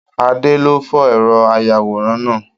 Adé ló fọ ẹrọ ayàwòrán náà.